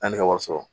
Yanni ka wari sɔrɔ